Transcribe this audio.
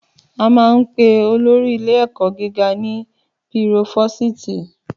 Àmà ń pẹ òlòrí ìlé ẹkọ gíga ni pírófósìtì